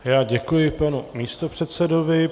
Já děkuji panu místopředsedovi.